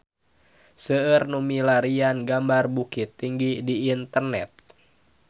Seueur nu milarian gambar Bukittinggi di internet